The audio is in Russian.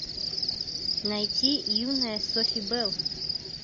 найти юная софи белл